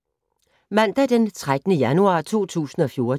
Mandag d. 13. januar 2014